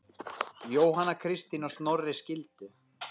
Jóhanna Kristín og Snorri skildu.